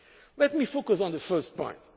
Let me focus on the first point.